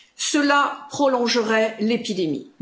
Cela prolongerait l'épidémie.